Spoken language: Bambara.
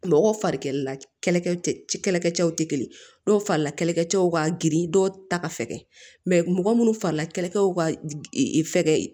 Mɔgɔ fari kɛlɛla kɛlɛkɛ cɛw tɛ kelen ye dɔw farila kɛlɛcɛw ka girin dɔw ta ka fɛgɛ mɔgɔ munnu farila kɛlɛw ka fɛgɛ